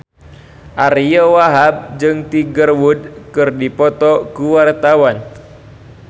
Ariyo Wahab jeung Tiger Wood keur dipoto ku wartawan